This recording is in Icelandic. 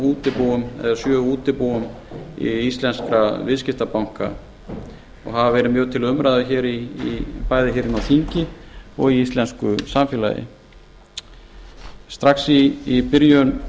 útibúum eða sjö útibúum í íslenska viðskiptabanka og hafa verið mjög til umræðu bæði hér inni á þingi og í íslensku samfélagi strax í byrjun